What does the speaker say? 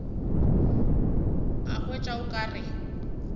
a hwetša o ka re